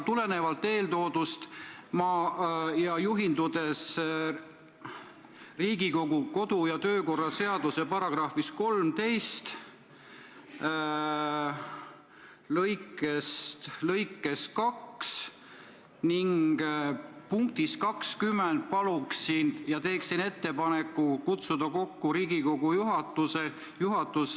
Tulenevalt eeltoodust ja juhindudes Riigikogu kodu- ja töökorra seaduse § 13 lõike 2 punktist 20 palun ja teen ettepaneku kutsuda kokku Riigikogu juhatus.